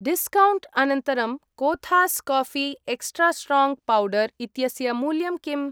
Discount अनन्तरं कोथास् काऴी एक्स्ट्रा स्ट्राङ्ग् पौडर् इत्यस्य मूल्यं किम्?